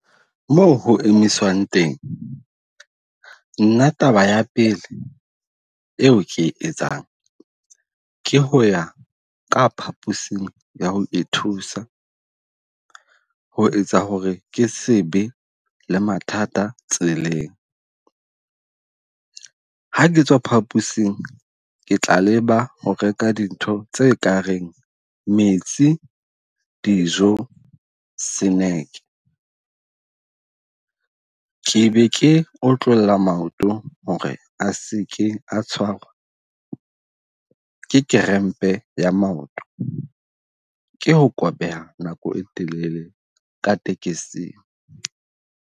Moo ho emisang teng, nna taba ya pele eo ke e etsang ke ho ya ka phaposing ya ho ithusa ho etsa hore ke sebe le mathata tseleng. Ha ke tswa phapusing ke tla leba ho reka dintho tse kareng metsi, dijo, seneke. Ke be ke otlolla maoto hore a seke a tshwarwa ke kerempe ya maoto. Ke ho kobeha nako e telele ka tekesing.